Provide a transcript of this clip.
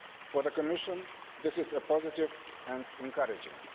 For the Commission, this is positive and encouraging.